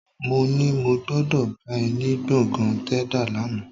Mó ní mo gbọ́dọ̀ bá ẹ ní gbọ̀ngàn Tẹ́dà lánàá